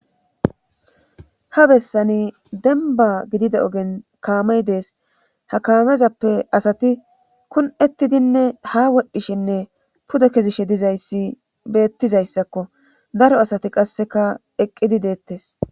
Ha bessani denba gidide ogen kaamey dees ha kaamezappe asati kun7ettidinne ha wodhdhishinne pude kezishe dizayssi beettizayssakko daro asati qasseka eqqidi deettes.